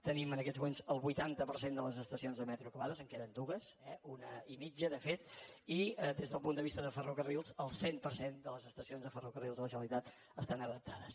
tenim en aquests moments el vuitanta per cent de les estacions de metro acabades en queden dues eh una i mitja de fet i des del punt de vista de ferrocarrils el cent per cent de les estacions de ferrocarrils de la generalitat estan adaptades